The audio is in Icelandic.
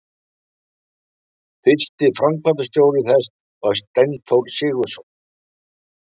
Fyrsti framkvæmdastjóri þess var Steinþór Sigurðsson.